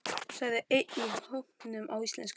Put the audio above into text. sagði einn í hópnum á íslensku.